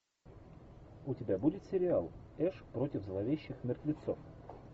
у тебя будет сериал эш против зловещих мертвецов